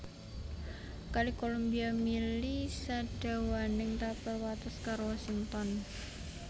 Kali Columbia mili sadawaning tapel wates karo Washington